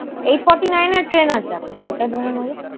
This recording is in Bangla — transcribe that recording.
এইট eight forty nine এর train আছে একটা, ওটা ধরে নেব।